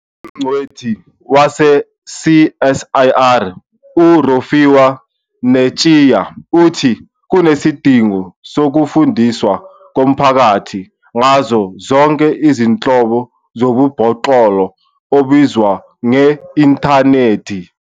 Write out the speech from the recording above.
Ungcweti wase-CSIR u-Rofhiwa Netshiya uthi kunesidingo sokufundiswa komphakathi ngazo zonke izinhlobo zobubhoklolo obenziwa nge-inthanethi.